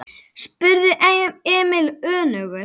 spurði Emil önugur.